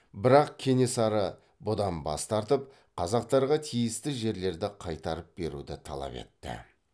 бірақ кенесары бұдан бас тартып қазақтарға тиісті жерлерді қайтарып беруді талап етті